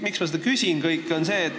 Miks ma seda kõike küsin?